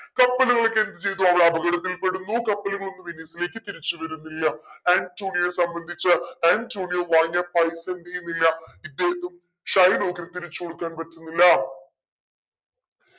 കപ്പൽ പോയിട്ട് എന്ത് ചെയ്തു അവിടെ അപകടത്തിൽ പെടുന്നു കപ്പലുകളൊന്നും വെനീസിലേക്ക് തിരിച്ചു വരുന്നില്ല. ആൻറ്റോണിയെ സംബന്ധിച്ച് ആൻറ്റോണിയോ വാങ്ങിയ പൈസ എന്തെയുന്നില്ല ഇദ്ദേഹത്ത്തിന് ശൈലോക്കിനു തിരിച്ചു കൊടുക്കാൻ പറ്റുന്നില്ല